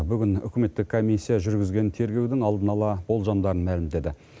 бүгін үкіметтік комиссия жүргізген тергеудің алдын ала болжамдарын мәлімдеді